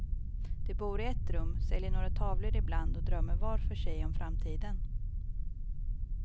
De bor i ett rum, säljer några tavlor ibland och drömmer var för sig om framtiden.